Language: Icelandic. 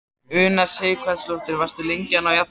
Una Sighvatsdóttir: Varstu lengi að ná jafnvægi?